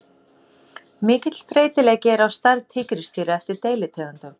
Mikill breytileiki er á stærð tígrisdýra eftir deilitegundum.